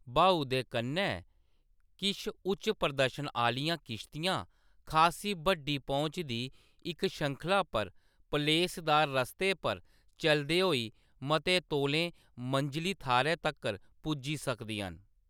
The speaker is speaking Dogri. ब्हाऊ दे कन्नै, किश उच्च प्रदर्शन आह्‌‌‌लियां किश्तियां खासी बड्डी पहुंच दी इक श्रृंखला पर पलेसदार रस्ते पर चलदे होई मते तौलें मंजली थाह्‌रै तक्कर पुज्जी सकदियां न।